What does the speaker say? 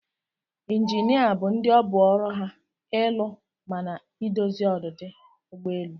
Inginias bu ndi obu ọrụ ha ilụ mana edozi odidi ụgbọ elụ.